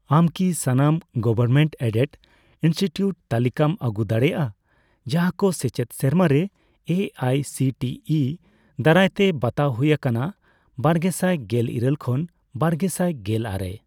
ᱟᱢ ᱠᱤ ᱥᱟᱱᱟᱢ ᱜᱚᱵᱷᱚᱨᱢᱮᱱᱴᱼᱮᱰᱮᱰ ᱤᱱᱥᱴᱤᱴᱤᱭᱩᱴ ᱛᱟᱞᱤᱠᱟᱢ ᱟᱹᱜᱩ ᱫᱟᱲᱮᱭᱟᱜᱼᱟ ᱡᱟᱦᱟᱸᱠᱚ ᱥᱮᱪᱮᱫ ᱥᱮᱨᱢᱟᱨᱮ A I C T E ᱫᱟᱨᱟᱭᱛᱮ ᱵᱟᱛᱟᱣ ᱦᱩᱭ ᱟᱠᱟᱱᱟ ᱵᱟᱨᱜᱮᱥᱟᱭ ᱜᱮᱞ ᱤᱨᱟᱹᱞ ᱠᱷᱚᱱ ᱵᱟᱨᱜᱮᱥᱟᱭ ᱜᱮᱞ ᱟᱨᱮ ?